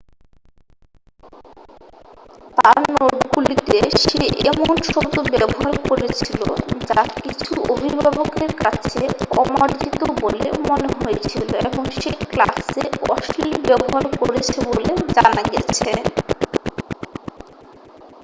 তাঁর নোটগুলিতে সে এমন শব্দ ব্যবহার করেছিল যা কিছু অভিভাবকের কাছে অমার্জিত বলে মনে হয়েছিল এবং সে ক্লাসে অশ্লীল ব্যবহার করেছে বলে জানা গেছে